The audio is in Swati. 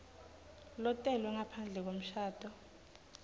lotelwe ngaphandle kwemshado